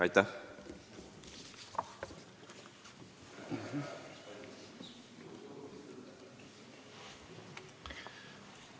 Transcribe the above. Aitäh!